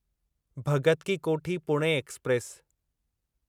Bhagat Ki Kothi Pune express